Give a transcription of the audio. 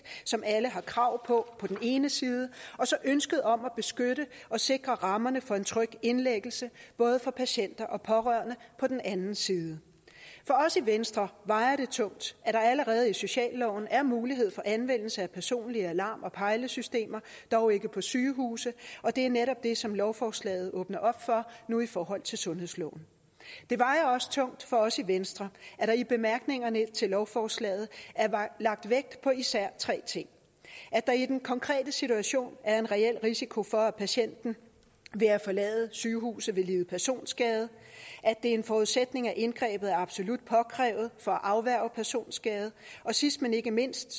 som alle har krav på på den ene side og så ønsket om at beskytte og sikre rammerne for en tryg indlæggelse både for patienter og pårørende på den anden side for os i venstre vejer det tungt at der allerede i socialloven er mulighed for anvendelse af personlige alarm og pejlesystemer dog ikke på sygehuse og det er netop det som lovforslaget åbner op for nu i forhold til sundhedsloven det vejer også tungt for os i venstre at der i bemærkningerne til lovforslaget er lagt vægt på især tre ting at der i den konkrete situation er en reel risiko for at patienten ved at forlade sygehuset vil lide personskade at det er en forudsætning at indgrebet er absolut påkrævet for at afværge personskade og sidst men ikke mindst